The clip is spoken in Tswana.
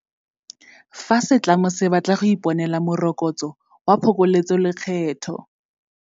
Fa setlamo se batla go ka iponela Moroko tso wa Phokoletsolekgetho